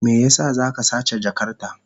Me yasa za ka sace jakarta?